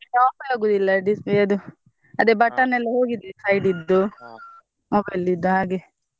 ಅದು off ಏ ಆಗುದಿಲ್ಲ display ಅದು ಅದೆ button ಎಲ್ಲಾ ಹೋಗಿದೆ side ಇದ್ದು mobile ಲಿದ್ದು ಹಾಗೆ.